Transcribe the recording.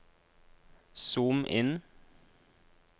zoom inn